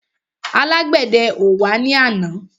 Alágbèdẹ ò wá ní àná.